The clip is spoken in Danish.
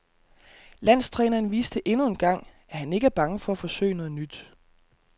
Landstræneren viste endnu engang, at han ikke er bange for at forsøge noget nyt.